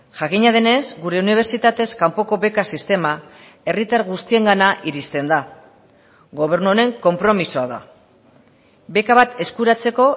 jakina denez gure unibertsitatez kanpoko beka sistema herritar guztiengana iristen da gobernu honen konpromisoa da beka bat eskuratzeko